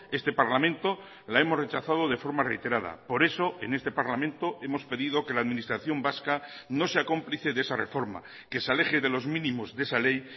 este parlamento la hemos rechazado de forma reiterada por eso en este parlamento hemos pedido que la administración vasca no sea cómplice de esa reforma que se aleje de los mínimos de esa ley